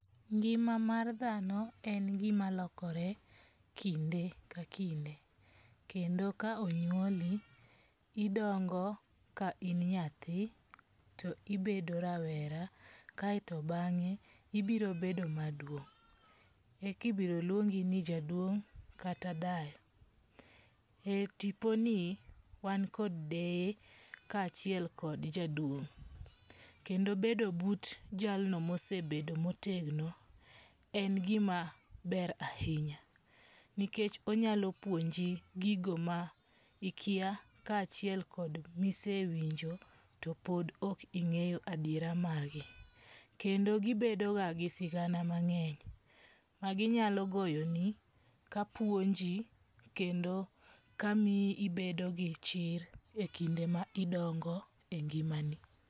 Ngima mar dhano en gima lokore kinde ka kinde. Kendo ka onyuoli idongo ka in nyathi to ibedo rawera kaeto bang'e ibiro bedo maduong'. Ekibiro luongi ni jaduong' kata dayo. E tiponi wan kod deye ka achiel kod jaduong'. Kendo bedo but jalno mosebedo motegno en gima ber ahinya. Nikech onyalo puonji gigo mikia ka achiek kod misewinjo to pod ok ing'eyo adiara margi. Kendi gibedo ga gi sigana mang'eny ma ginyalo goyoni kapuonji kendo ka miyi ibedo gi chir e kinde ma idongo e ngima ni.